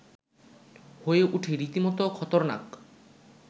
হয়ে ওঠে রীতিমতো খতরনাক